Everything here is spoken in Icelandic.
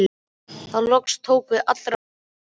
Þá loks tók við alvara lífsins.